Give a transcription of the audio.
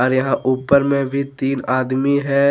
और यहां ऊपर में भी तीन आदमी है।